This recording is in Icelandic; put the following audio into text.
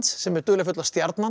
sem er dularfulla stjarnan